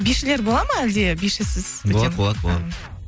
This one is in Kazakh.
бишілер бола ма әлде бишісіз өте ме болады болады болады